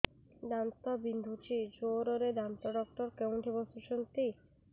ଦାନ୍ତ ବିନ୍ଧୁଛି ଜୋରରେ ଦାନ୍ତ ଡକ୍ଟର କୋଉଠି ବସୁଛନ୍ତି